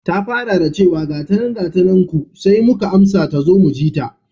Ta fara da chewa, gatanan gatanan ku sai muka amsa tazo mujita.